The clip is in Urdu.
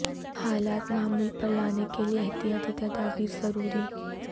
حالات معمول پر لانے کے لیے احتیاطی تدابیر ضروری